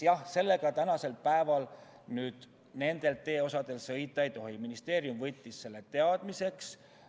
Jah, sellega tänasel päeval nendel teeosadel sõita ei tohi, ministeerium võttis selle teadmiseks.